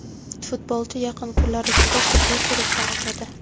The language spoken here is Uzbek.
Futbolchi yaqin kunlar ichida tibbiy ko‘rikdan o‘tadi.